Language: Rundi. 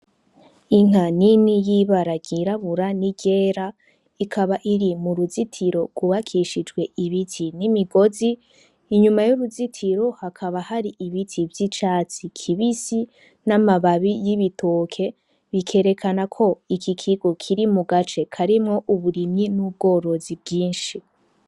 Inka nini yibaragirabura ni gera ikaba iri mu ruzitiro gubakishijwe ibiti n'imigozi inyuma y'uruzitiro hakaba hari ibiti vy' icatsi kibisi n'amababi y'ibitoke bikerekana ko iki kigo kiri mu gace karimwo uburimyi n'ubwoe burozi bwinshi.